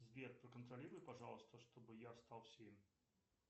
сбер проконтролируй пожалуйста чтобы я встал в семь